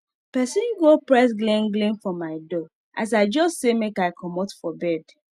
pesin go press glin glin for my door as i jus say make i comot for bed